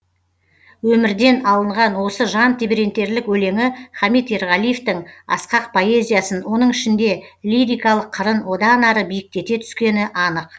өмірден алынған осы жан тебірентерлік өлеңі хамит ерғалиевтің асқақ поэзиясын оның ішінде лирикалық қырын одан ары биіктете түскені анық